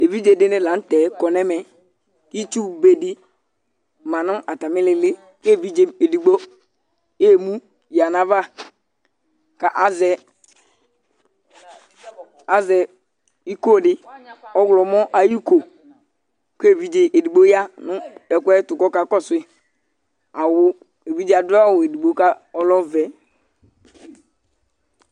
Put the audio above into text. Evidze dini la n'tɛ kɔ n'ɛmɛ, itsu be di ma nʋ atam'ihilili k'evidzɛ edigbo eemu ya n'ava k'azɛ, azɛ iko di ɔɣlɔmɔ ayi ko k'evidze edigbo ya nʋ ekʋɛtʋ k'ɔka kɔsu yi , awʋ , evidze adʋ awʋ edigbo k'ɔlɛ ɔvɛ